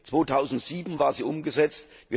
2007 war sie umgesetzt.